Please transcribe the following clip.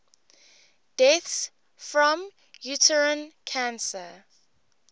deaths from uterine cancer